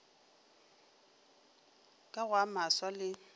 ka go a maswa le